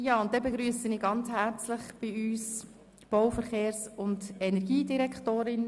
Ich begrüsse herzlich die Bau-, Verkehrs- und Energiedirektorin.